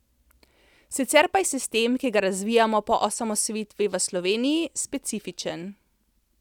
Sicer pa je sistem, ki ga razvijamo po osamosvojitvi v Sloveniji, specifičen.